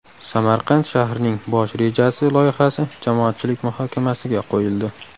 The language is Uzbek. Samarqand shahrining bosh rejasi loyihasi jamoatchilik muhokamasiga qo‘yildi .